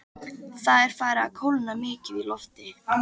Það er farið að kólna mikið í lofti.